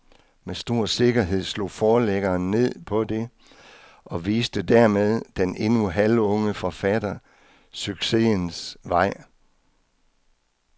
Med stor sikkerhed slog forlæggeren ned på det og viste dermed den endnu halvunge forfatter succesens vej.